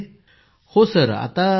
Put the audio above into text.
पूनम नौटियालः हांजी सर हांजी